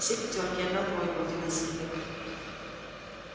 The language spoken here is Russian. все пятёрки и одна тройка удивился генерал